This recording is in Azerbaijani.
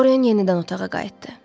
Dorin yenidən otağa qayıtdı.